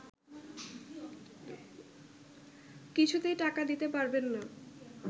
কিছুতেই টাকা দিতে পারবেন না